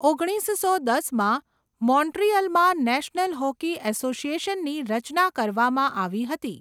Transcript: ઓગણીસસો દસમાં મોન્ટ્રિયલમાં નેશનલ હોકી એસોસિએશનની રચના કરવામાં આવી હતી.